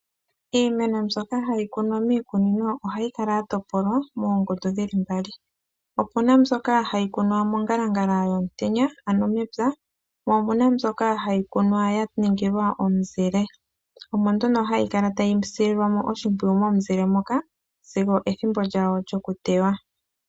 Iimeno mbyoka hayi kunwa miikunino ohayi kala ya topolwa moongundu dhi li mbali. Opu na mbyoka hayi kunwa mongalangala yomutenya, ano mepya po opu na mbyoka hayi kunwa ya ningilwa omuzile. Omo nduno hayi kala tayi sililwa mo oshimpwiyu momuzile moka sigo ethimbo lyawo lyokuteywa.